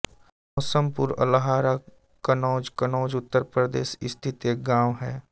मौसमपुर अल्हारा कन्नौज कन्नौज उत्तर प्रदेश स्थित एक गाँव है